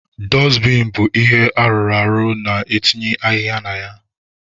Dọstbin bụ ihe arụrụ a na-etinye ahịhịa na ya.